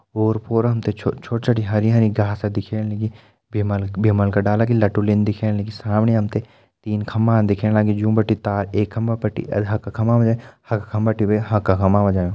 ओर फोर हम त छोटू छोटी छोटी हरी हरी घास दिखेण लगीं। भीमल भीमल का डाला की लटुनि दिखेण लगीं। सामणी हम त तीन खम्बा दिखेण लगीं जूम बिटिन तार एक खम्बा बिटि हखा खम्बा हखा खम्बा बिटि भी हखा खम्बा पर जयुं।